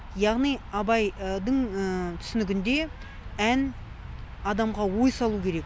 яғни абайдың түсінігінде ән адамға ой салу керек